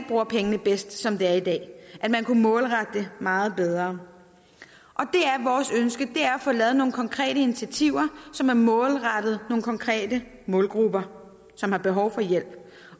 bruger pengene bedst som det er i dag at man kunne målrette det meget bedre vores ønske er at få lavet nogle konkrete initiativer som er målrettet nogle konkrete målgrupper som har behov for hjælp